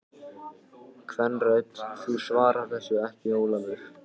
Kvenrödd: Þú svarar þessu ekki Ólafur!